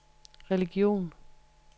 religion